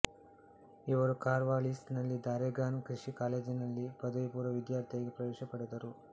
ಇವರು ಕಾರ್ವಾಲಿಸ್ ನಲ್ಲಿದ್ದ ಆರೆಗಾನ್ ಕೃಷಿ ಕಾಲೇಜಿನಲ್ಲಿ ಪದವಿಪೂರ್ವ ವಿದ್ಯಾರ್ಥಿಯಾಗಿ ಪ್ರವೇಶ ಪಡೆದರು